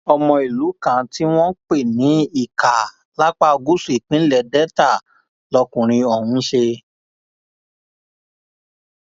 ọmọ ìlú kan tí wọn ń pè ní ika lápá gúúsù ìpínlẹ delta lọkùnrin ọhún ń ṣe